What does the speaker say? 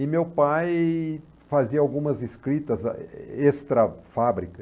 E meu pai fazia algumas escritas extrafábrica.